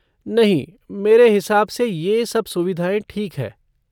नहीं मेरे हिसाब से ये सब सुविधाएँ ठीक है।